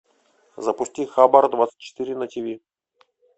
запусти хабар двадцать четыре на тиви